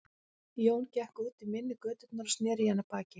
Jón gekk út í mynni götunnar og sneri í hana baki.